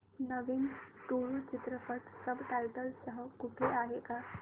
नवीन तुळू चित्रपट subtitles सह कुठे आहे का